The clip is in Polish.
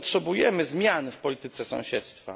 Dlatego potrzebujemy zmian w polityce sąsiedztwa.